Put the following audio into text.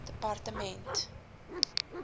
departement